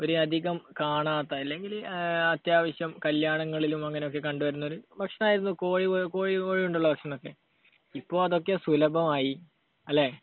വളരെയധികം കാണാത്ത, അല്ലെങ്കിൽ അത്യാവശ്യം കല്യാണങ്ങളിലും അങ്ങനെയൊക്കെ കണ്ടുവരുന്ന ഒരു ഭക്ഷണമായിരുന്നു, കോഴി, കോഴി കൊണ്ടുള്ള ഭക്ഷണം. ഇപ്പൊ അതൊക്കെ സുലഭമായി. അല്ലെ?